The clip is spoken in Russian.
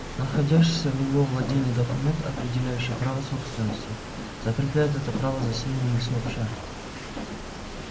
находящийся в его владении документ определяющий право собственности закрепляет это право за свиньями сообща